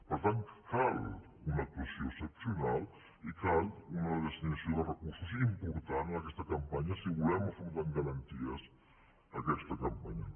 per tant cal una actuació excepcional i cal una destinació de recursos important en aquesta campanya si volem afrontar amb garanties aquesta campanya